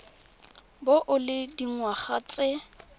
bo o le dingwaga tse